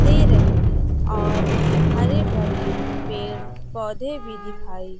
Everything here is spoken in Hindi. दे रही है और हरे भरे पेड़ पौधे भी दिखाई--